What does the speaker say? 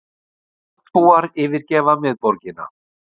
Tjaldbúar yfirgefa miðborgina